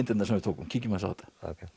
myndirnar sem við tókum kíkjum aðeins á þetta